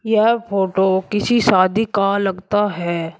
यह फोटो किसी शादी का लगता है।